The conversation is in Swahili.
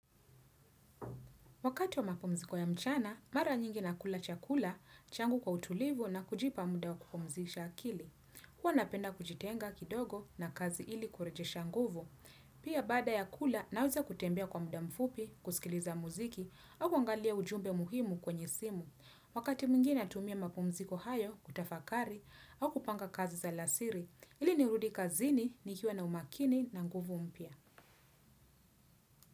Wakati wa mapumziko ya mchana, mara nyingi na kula chakula, changu kwa utulivu na kujipa muda wa kupumzisha akili. Huwa napenda kujitenga kidogo na kazi ili kureje shanguvu. Pia baada ya kula, naweza kutembea kwa mda mfupi, kuskiliza muziki, au kuangalia ujumbe muhimu kwenye simu. Wakati mwingine natumia mapumziko hayo kutafakari au kupanga kazi za lasiri, ili nirudi kazini ni kiwa na umakini na nguvu mpya.